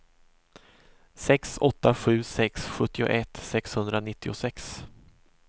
sex åtta sju sex sjuttioett sexhundranittiosex